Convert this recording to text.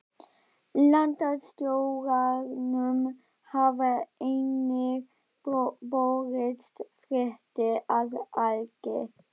Landstjóranum hafa einnig borist fréttir af Agli